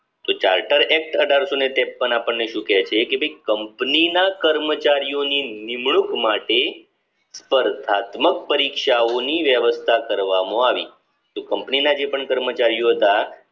કે charter act અઢારશોને ત્રેપન આપડને શું છે કે company ના કર્મચારીઓની નિમણૂંક માટે સ્પર્ધાત્મક પરીક્ષાઓ ની વ્યવસ્થા કરવામાં આવી તો company ના જે પણ કર્મચારીઓ હતા